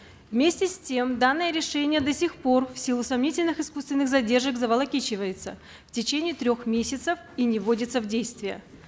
вместе с тем данное решение до сих пор в силу сомнительных искусственых задержек заволокичивается в течение трех месяцев и не вводится в действие